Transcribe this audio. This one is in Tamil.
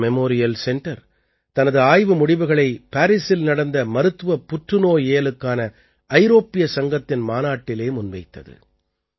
டாடா மெமோரியல் சென்டர் தனது ஆய்வு முடிவுகளை பாரீஸில் நடந்த மருத்துவப் புற்றுநோயியலுக்கான ஐரோப்பிய சங்கத்தின் மாநாட்டிலே முன்வைத்தது